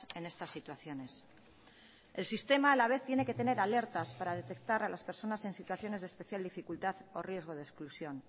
en estas situaciones el sistema a la vez tiene que tener alertas para detectar a las personas en situaciones de especial dificultad o riesgo de exclusión